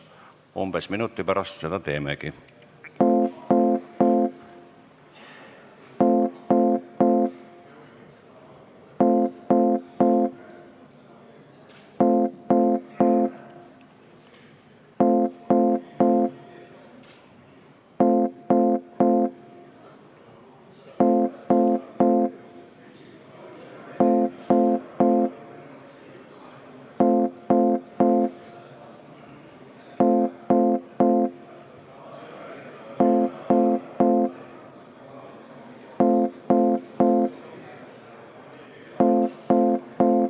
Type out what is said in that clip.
Umbes minuti pärast seda teemegi.